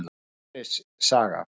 Sverris saga.